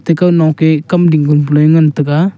ikkha noke kam ding ngan taiga.